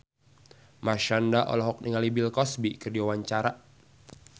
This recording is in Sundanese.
Marshanda olohok ningali Bill Cosby keur diwawancara